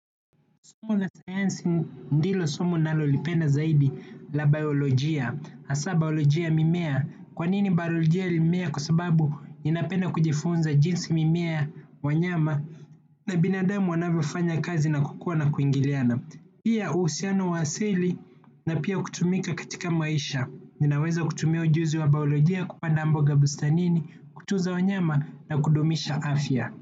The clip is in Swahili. Somo la sayansi ndilo somo ninalolipenda zaidi la biolojia, hasa biolojia mimea kwanini biolojia mimea kwa sababu niinapenda kujifunza jinsi mimea wanyama na binadamu wanavyofanya kazi na kukua na kuingiliana. Pia uhusiano wa asili na pia kutumika katika maisha. Ninaweza kutumia ujuzi wa biolojia kupanda mboga bustanini, kutunza wanyama na kudumisha afya.